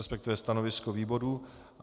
Respektive stanovisko výboru.